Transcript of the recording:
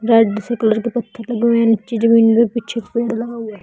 Red से colour के पत्थर लगे हुए नीचे जमीन में पीछे पेंट लगा हुआ है।